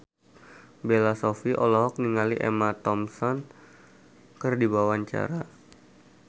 Bella Shofie olohok ningali Emma Thompson keur diwawancara